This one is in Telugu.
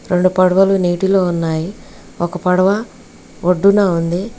రెండు పడవలు నీటిలో ఉన్నాయి ఒక పడవ వడ్డున ఉంది.